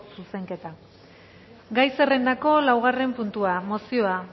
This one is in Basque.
zuzenketa gai zerrendako laugarren puntua mozioa